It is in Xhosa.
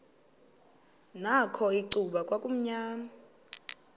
nakho icuba kwakumnyama